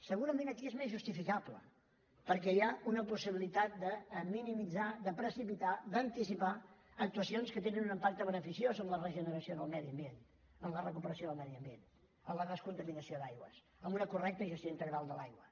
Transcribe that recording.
segurament aquí és més justificable perquè hi ha una possibilitat de minimitzar de precipitar d’anticipar actuacions que tenen un impacte beneficiós en la regeneració del medi ambient en la recuperació del medi ambient en la descontaminació d’aigües amb una correcta gestió integral de l’aigua